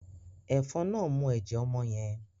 Efòn náà mú ẹjẹ ọmọ yen